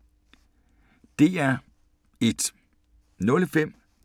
DR1